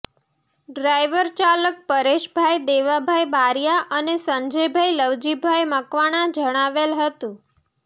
driver ચાલક પરેશભાઇ દેવાભાઇ બારીયા અને સંજયભાઇ લવજીભાઇ મકવાણા જણાવેલ હતું